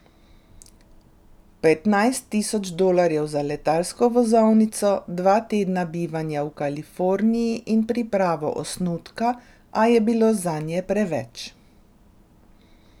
Petnajst tisoč dolarjev za letalsko vozovnico, dva tedna bivanja v Kaliforniji in pripravo osnutka, a je bilo zanje preveč.